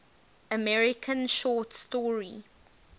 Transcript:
american short story